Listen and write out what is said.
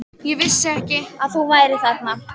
Ég vissi ekki að þú værir þarna.